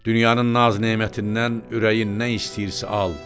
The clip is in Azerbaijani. Dünyanın naz-nemətindən ürəyin nə istəyirsə al.